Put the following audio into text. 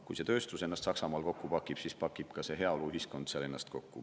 Kui see tööstus ennast Saksamaal kokku pakib, siis pakib ennast kokku ka sealne heaoluühiskond.